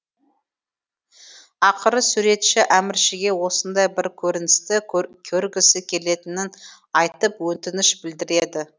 ақыры суретші әміршіге осындай бір көріністі көргісі келетінін айтып өтініш білдіреді